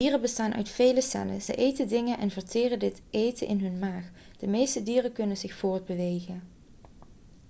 dieren bestaan uit vele cellen ze eten dingen en verteren dit eten in hun maag de meeste dieren kunnen zicht voortbewegen